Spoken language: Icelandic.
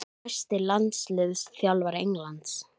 Næsti landsliðsþjálfari Englands?